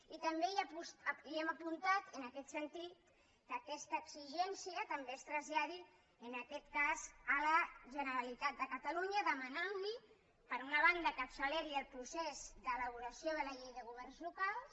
i també hem apuntat en aquest sentit que aquesta exigència també es traslladi en aquest cas a la generalitat de catalunya demanant li per una banda que acceleri el procés d’elaboració de la llei de governs locals